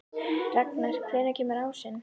Ragnar, hvenær kemur ásinn?